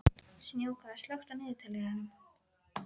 Snjáka, slökktu á niðurteljaranum.